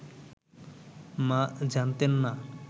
মা জানতেন না